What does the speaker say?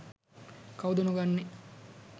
කවුද නොගන්නේ?